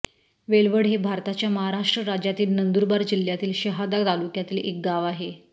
वेलवड हे भारताच्या महाराष्ट्र राज्यातील नंदुरबार जिल्ह्यातील शहादा तालुक्यातील एक गाव आहे